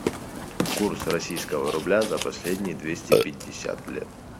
курс российского рубля за последние двести пятьдесят лет